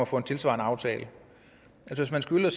få en tilsvarende aftale hvis man skylder